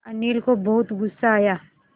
अनिल को बहुत गु़स्सा आया